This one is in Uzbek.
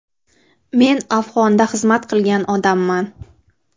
Men Afg‘onda xizmat qilgan odamman.